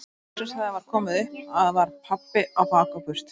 En loksins þegar það var komið upp að var pabbi á bak og burt.